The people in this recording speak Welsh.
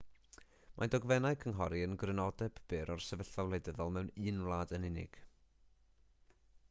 mae dogfennau cynghori yn grynodeb byr o'r sefyllfa wleidyddol mewn un wlad yn unig